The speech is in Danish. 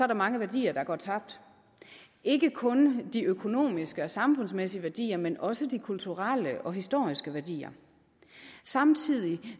der mange værdier der går tabt ikke kun de økonomiske og samfundsmæssige værdier men også de kulturelle og historiske værdier samtidig